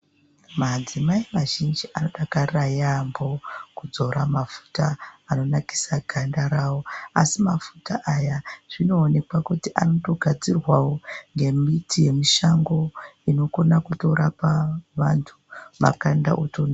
Madzimai mazhinji, anodakarira yaampho kudzora mafuta anonakisa ganda ravo, asi mafuta aya zvinoonekwa kuti anotogadzirwawo ngemiti yemushango, inokona kutorapa vanthu, makanda oto..........